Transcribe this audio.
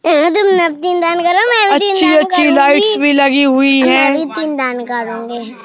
अच्छी अच्छी लाइट्स भी लगी हुई है ।